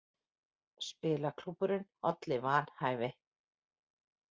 Spilaklúbburinn olli vanhæfi